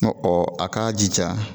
Nka a k'a jija